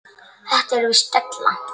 Þetta er víst della.